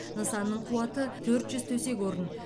нысанның қуаты төрт жүз төсек орын